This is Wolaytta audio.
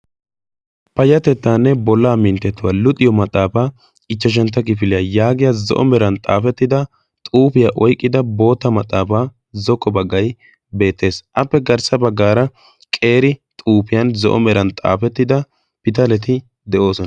payatettaanne bollaa minttatuwaa luxiyo maxaafaa ichchashantta gifiliyaa yaagiya zo7o meran xaafettida xuufiyaa oiqqida boota maxaafaa zokko baggai beettees appe garssa baggaara qeeri xuufiyan zo7o meran xaafettida pitaleti de7oosona